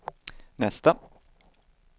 nästa